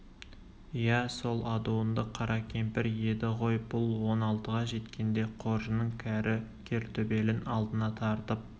иә сол адуынды қара кемпір еді ғой бұл он алтыға жеткенде қожының кәрі кертөбелін алдына тартып